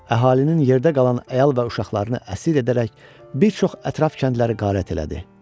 Əhalinin yerdə qalan əyal və uşaqlarını əsir edərək bir çox ətraf kəndləri qarət elədi.